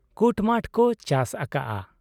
ᱠᱩᱴᱢᱟᱴᱷ ᱠᱚ ᱪᱟᱥ ᱟᱠᱟᱜ ᱟ ᱾